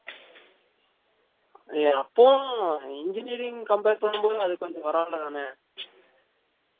ஏ அப்பவும் engineering compare பன்னும் போதும் அது கொஞ்சம் பரவா இல்ல தான